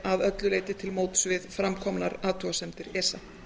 að öllu leyti til móts við fram komnar athugasemdir esa